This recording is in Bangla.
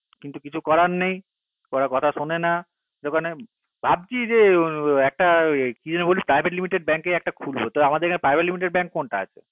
কিন্ত কিছু করার নেই কোনো কথা শুনে না ভাবছি যে একটা কি জানি বলছিস private limited bank একটা খুলবো private limited bank আমাদের এখানে কোনটা আছে